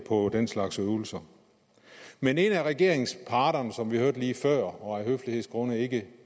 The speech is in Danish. på den slags øvelser men en af regeringsparterne som vi hørte før og af høflighedsgrunde ikke